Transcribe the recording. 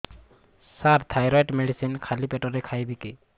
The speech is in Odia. ସାର ଥାଇରଏଡ଼ ମେଡିସିନ ଖାଲି ପେଟରେ ଖାଇବି କି